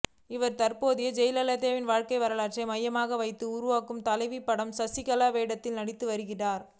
இவர் தற்போது ஜெயலலிதாவின் வாழ்க்கை வரலாற்றை மையமாக வைத்து உருவாகும் தலைவி படத்தில் சசிகலா வேடத்தில் நடித்து வருகிறார்